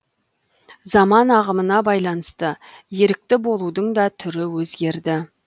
заман ағымына байланысты ерікті болудың да түрі өзгерді